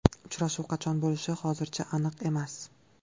Uchrashuv qachon bo‘lishi hozircha aniq emas.